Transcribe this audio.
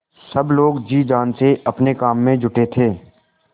सब लोग जी जान से अपने काम में जुटे थे